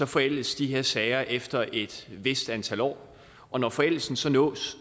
forældes de her sager efter et vist antal år og når forældelsen så nås